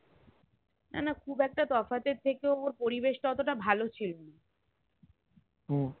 না না খুবএকটা তফাৎ এর থেকেও ওর পরিবেশ টা অতটা ভালো ছিলোনা